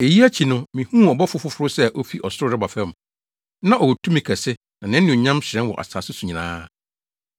Eyi akyi no, mihuu ɔbɔfo foforo sɛ ofi ɔsoro reba fam. Na ɔwɔ tumi kɛse na nʼanuonyam hyerɛn wɔ asase so nyinaa.